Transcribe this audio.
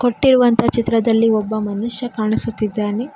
ನಿಂತಿರುವಂತಹ ಚಿತ್ರದಲ್ಲಿ ಒಬ್ಬ ಮನುಷ್ಯ ಕಾಣಿಸುತ್ತಿದ್ದಾನೆ.